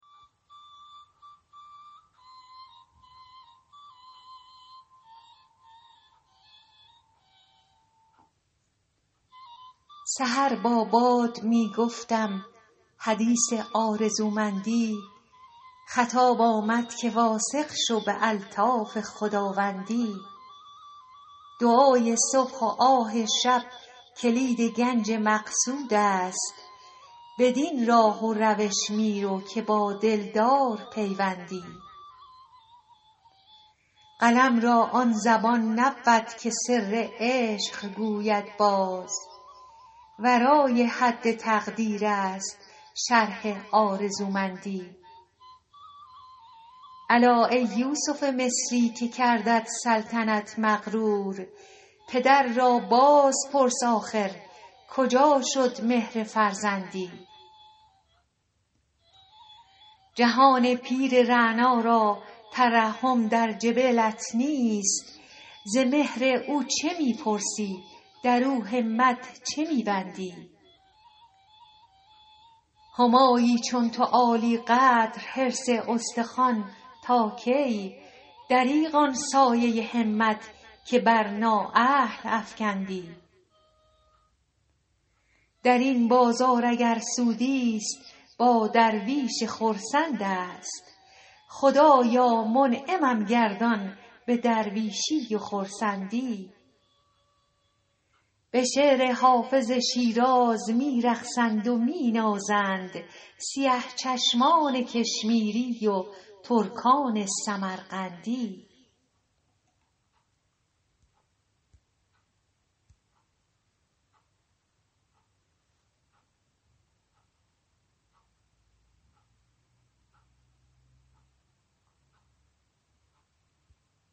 سحر با باد می گفتم حدیث آرزومندی خطاب آمد که واثق شو به الطاف خداوندی دعای صبح و آه شب کلید گنج مقصود است بدین راه و روش می رو که با دلدار پیوندی قلم را آن زبان نبود که سر عشق گوید باز ورای حد تقریر است شرح آرزومندی الا ای یوسف مصری که کردت سلطنت مغرور پدر را باز پرس آخر کجا شد مهر فرزندی جهان پیر رعنا را ترحم در جبلت نیست ز مهر او چه می پرسی در او همت چه می بندی همایی چون تو عالی قدر حرص استخوان تا کی دریغ آن سایه همت که بر نااهل افکندی در این بازار اگر سودی ست با درویش خرسند است خدایا منعمم گردان به درویشی و خرسندی به شعر حافظ شیراز می رقصند و می نازند سیه چشمان کشمیری و ترکان سمرقندی